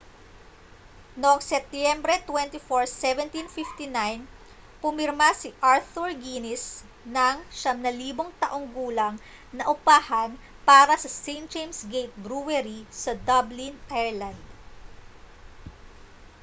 noong setyembre 24 1759 pumirma si arthur guinness ng 9,000 taong gulang na upahan para sa st james' gate brewery sa dublin ireland